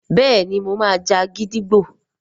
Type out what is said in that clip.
béèni mọ má jà gídígbò.